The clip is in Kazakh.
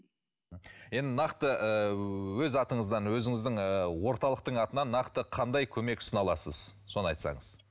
енді нақты ы өз атыңыздан өзіңіздің ы орталықтың атынан нақты қандай көмек ұсына аласыз соны айтасаңыз